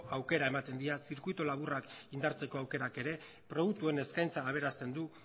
aukera ematen die zirkuitu laburrak indartzeko aukerak ere produktuen eskaintza aberasten du